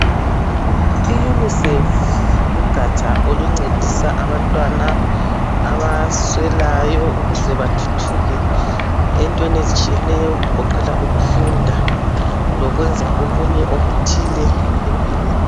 I'UNICEF" lugaja oluncedisa abantwana abaswelayo ukuze bathuthuke entweni ezitshiyeno okugoqela ukufunda lokwenza okunye okuthile empilweni.